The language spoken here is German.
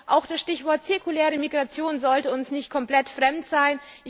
Auch das Stichwort zirkuläre Migration sollte uns nicht komplett fremd sein.